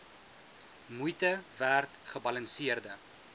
moeite werd gebalanseerde